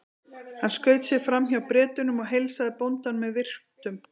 Hann skaut sér fram hjá Bretunum og heilsaði bóndanum með virktum.